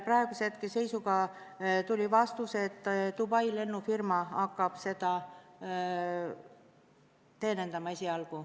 Praeguse hetke seisuga teame, et esialgu hakkab seda liini teenindama Dubai lennufirma.